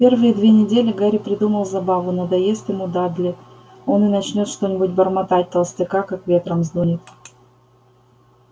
первые две недели гарри придумал забаву надоест ему дадли он и начнёт что-нибудь бормотать толстяка как ветром сдунет